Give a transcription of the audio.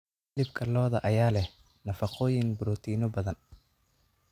Hilibka lo'da ayaa leh nafaqooyin borotiinno badan.